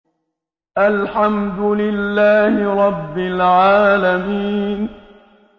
الْحَمْدُ لِلَّهِ رَبِّ الْعَالَمِينَ